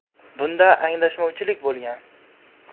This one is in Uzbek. Bunda anglashilmovchilik bo‘lgan.